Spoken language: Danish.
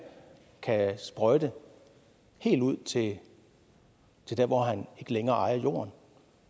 kan sprøjte helt ud til der hvor han ikke længere ejer jorden